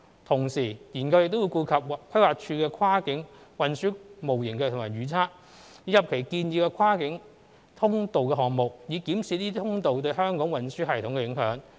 同時，研究亦會顧及規劃署的跨界運輸模型及預測，以及其建議的跨境通道項目，以檢視這些通道對香港運輸系統的影響。